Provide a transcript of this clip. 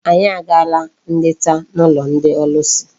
Anyị agaala nleta n'ụlọ ndị ọlụsị.